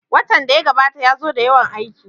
Watan da ya gabata ya zo da yawan aiki